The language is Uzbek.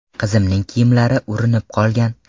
Qizimning kiyimlari urinib qolgan.